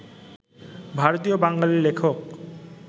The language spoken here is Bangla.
ভারতীয় বাঙালি লেখক